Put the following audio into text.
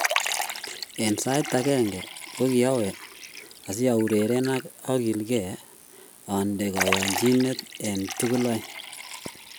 En sait age ko kiamwee asi aureren ak agilgei ande koyonchinet en tugul aeng.